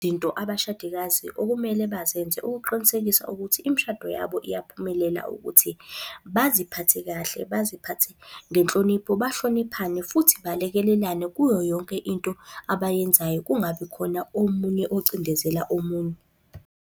Izinto abashadikazi okumele bazenze ukuqinisekisa ukuthi imishado yabo iyaphumelela ukuthi, baziphathe kahle, baziphathe ngenhlonipho. Bahloniphane futhi balekelelane kuyo yonke into abayenzayo, kungabi khona omunye ocindezela omunye.